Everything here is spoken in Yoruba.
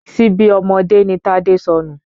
Ṣíbí ọmọdé ni Tádé sọnù